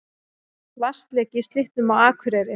Vatnsleki í Slippnum á Akureyri